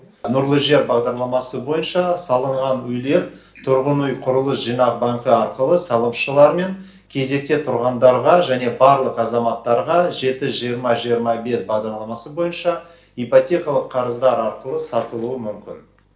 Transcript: нұрлы жер бағдарламасы бойынша салынған үйлер тұрғын үй құрылыс жинақ банкі арқылы салымшылар мен кезекте тұрғандарға және барлық азаматтарға жеті жиырма жиырма бес бағдарламасы бойынша ипотекалық қарыздар арқылы сатылуы мүмкін